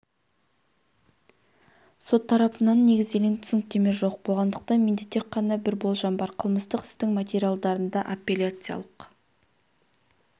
сот тарапынан негізделген түсініктеме жоқ болғандықтан менде тек қана бір болжам бар қылмыстық істің материалдарында апелляциялық